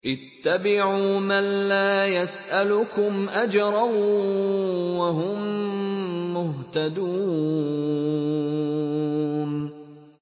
اتَّبِعُوا مَن لَّا يَسْأَلُكُمْ أَجْرًا وَهُم مُّهْتَدُونَ